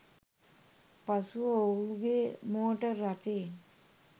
පසුව ඔහුගේ මෝටර් රථයෙන්